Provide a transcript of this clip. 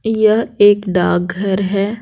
यह एक डार्क घर है.